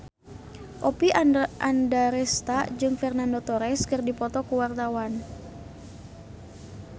Oppie Andaresta jeung Fernando Torres keur dipoto ku wartawan